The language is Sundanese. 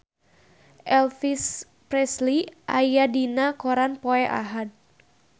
Elvis Presley aya dina koran poe Ahad